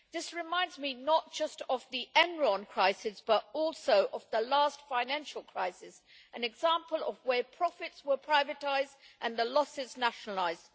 This reminds me not just of the Enron crisis but also of the last financial crisis, an example of where profits were privatised and the losses nationalised.